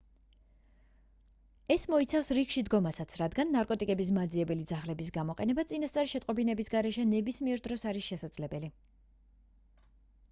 ეს მოიცავს რიგში დგომასაც რადგან ნარკოტიკების მაძიებელი ძაღლების გამოყენება წინასწარი შეტყობინების გარეშე ნებისმიერ დროს არის შესაძლებელი